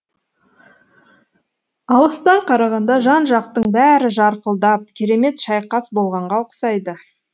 алыстан қарағанда жан жақтың бәрі жарқылдап керемет шайқас болғанға ұқсайды